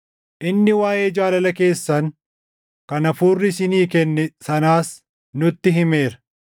inni waaʼee jaalala keessan kan Hafuurri isinii kenne sanaas nutti himeera.